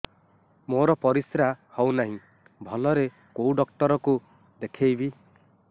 ମୋର ପରିଶ୍ରା ହଉନାହିଁ ଭଲରେ କୋଉ ଡକ୍ଟର କୁ ଦେଖେଇବି